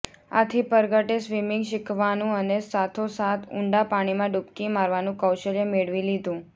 આથી પરગટે સ્વિમિંગ શીખવાનું અને સાથોસાથ ઊંડા પાણીમાં ડૂબકી મારવાનું કૌશલ્ય મેળવી લીધું